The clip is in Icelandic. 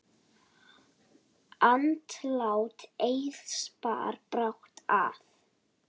Andlát Eiðs bar brátt að.